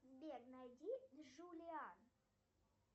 сбер найди джулиан